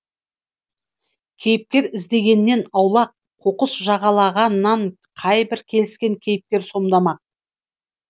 кейіпкер іздегеннен аулақ қоқыс жағалағаннан қайбір келіскен кейіпкер сомдамақ